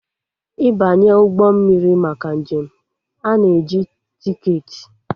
Ịbanye ụgbọ mmiri maka njem, a na-eji tiketi